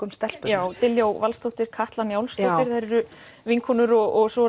um stelpurnar Diljá Valsdóttir Katla Njálsdóttir þær eru vinkonur og svo